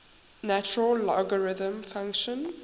natural logarithm function